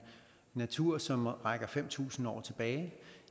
natur som rækker fem tusind år tilbage